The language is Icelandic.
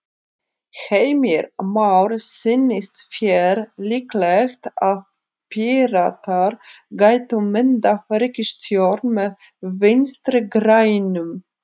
Heimir Már: Sýnist þér líklegt að Píratar gætu myndað ríkisstjórn með Vinstri-grænum?